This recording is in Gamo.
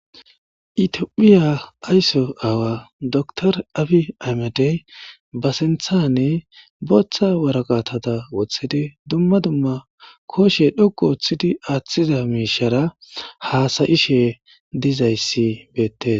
Itiophiya aysso aawa dr abi amadey ba sinthane booththa waraqatata woththidi dumma dumma koshe dhokku woththidi aaththida miishara haasayishe dizayssi beettes.